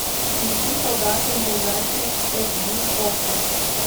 включи солдаты неудачи эйч ди окко